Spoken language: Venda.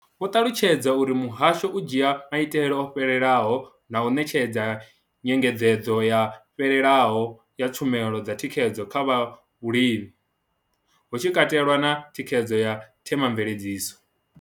Vho ṱalutshedza uri muhasho u dzhia maitele o fhelelaho na u ṋetshedza nyengedzedzo yo fhelelaho ya tshumelo dza thikhedzo kha zwa vhulimi, hu tshi katelwa na thikhedzo ya Thema mveledziso.